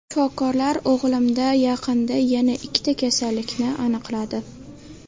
Shifokorlar o‘g‘limda yaqinda yana ikkita kasallikni aniqladi.